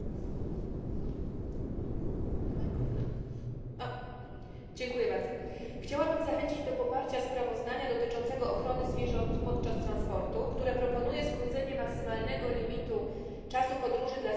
Panie Przewodniczący! Chciałabym zachęcić do poparcia sprawozdania dotyczącego ochrony zwierząt podczas transportu, które proponuje skrócenie maksymalnego limitu czasu podróży dla zwierząt rzeźnych do 8 godzin.